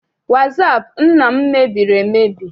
Wasaapụ nna m mebiri emebi.